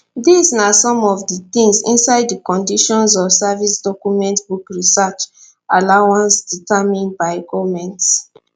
dis na some of di tins inside di conditions of service document book research allowance determined by goment